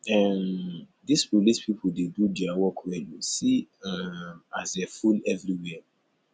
um dis police people dey do their work well oo see um as dey full everywhere